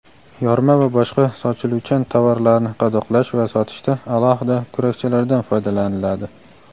yorma va boshqa sochiluvchan tovarlarni qadoqlash va sotishda alohida kurakchalardan foydalaniladi.